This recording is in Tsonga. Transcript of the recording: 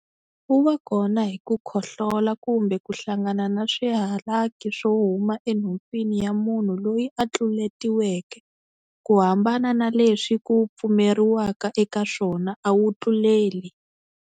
Wu va kona hi ku khohlola kumbe ku hlangana na swihalaki swo huma enhompfini ya munhu loyi a tluletiweke. Ku hambana na leswi ku pfumeriwaka eka swona, a wu tluleli.